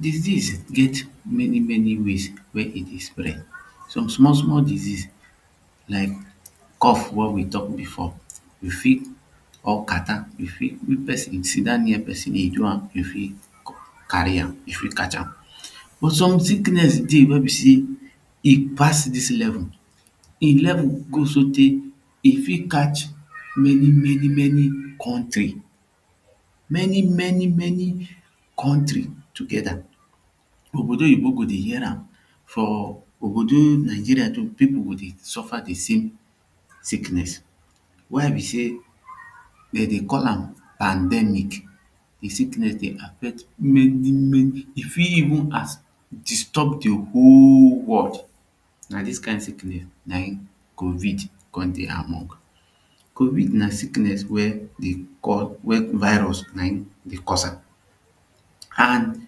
Disease get many many ways wey e dey spread some small small disease like cough wey we talk before you fit or catarrh you fit if person sit down near person e do am e fit carry am e fit catch am but some sickness dey wey be say e pass this level him level go so tey e fit catch many many many country many many many country togeda ogbodoyibo go dey hear am for ogbodo Nigeria too people go dey suffer de same sickness why be say dem dey call am pandemic. de sickness dey affect many many e fit evun as disturb de whole world na dis kind sickness na him COVID come dey among. Covid na sickness weydey call wey virus na him dey cause am and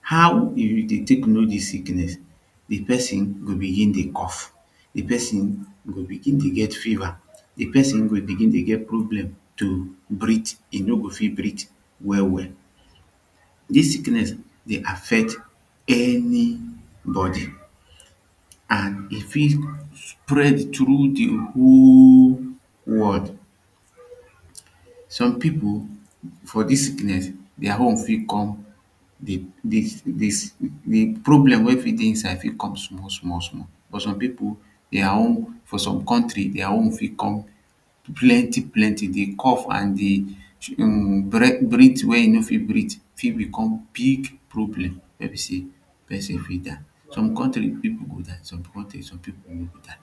how e dey take know dis sickness the person go begin dey cough the person go begin dey begin dey get fever the person go begin dey get problem to breet e no go fit breet well well dis sickness dey affect anybody and e fit spread through de whole world soak people for dis sickness their own fit com dey dey dey dey problem wey fit dey inside fit come small small small but some people their own for some country their own fit come plenty plenty the cough and the breathe wey you no fit breath fit become big problem wey be say person fit die. Some country people go die some country people no go die